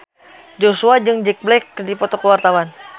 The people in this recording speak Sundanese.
Joshua jeung Jack Black keur dipoto ku wartawan